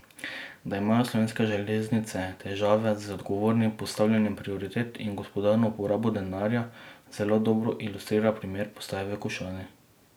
Da imajo Slovenske železnice težave z odgovornim postavljanjem prioritet in gospodarno uporabo denarja, zelo dobro ilustrira primer postaje v Košani.